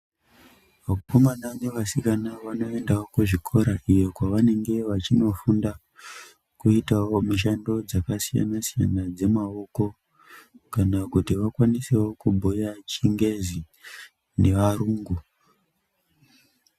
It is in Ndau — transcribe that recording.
Vakomana nevasikana vanoendawo kuzvikora iyo kwavanenge vachinofunda kuitawo mishando dzakasiyana-siyana, dzemaoko kana kuti vakwanisewo kubhuya chingezi nearungu.